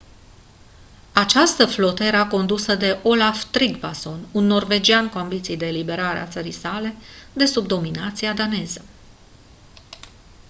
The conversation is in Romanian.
această flotă era condusă de olaf trygvasson un norvegian cu ambiții de eliberare a țării sale de sub dominația daneză